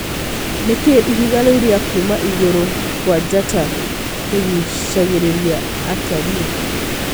Nĩkĩ ihiga rĩu rĩa Kuma ĩgũrũ kwa njata rĩgucarĩria atarii ?